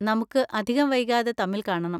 നമുക്ക് അധികം വൈകാതെ തമ്മിൽ കാണണം.